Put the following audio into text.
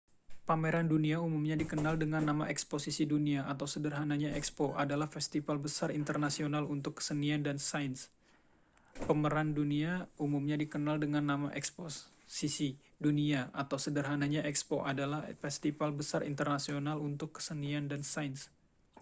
pameran dunia umumnya dikenal dengan nama eksposisi dunia atau sederhananya ekspo adalah festival besar internasional untuk kesenian dan sains